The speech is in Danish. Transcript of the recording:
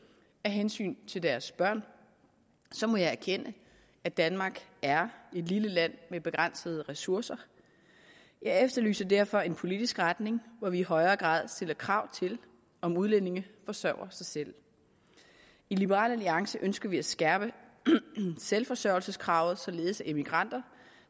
af hensyn til deres børn så må jeg erkende at danmark er et lille land med begrænsede ressourcer jeg efterlyser derfor en politisk retning hvor vi i højere grad stiller krav om at udlændinge forsørger sig selv i liberal alliance ønsker vi at skærpe selvforsørgelseskravet således at immigranter